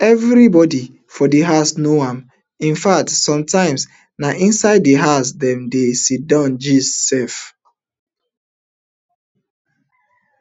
evribodi for di house know am in fact sometimes na inside di house dem dey sidon gist sef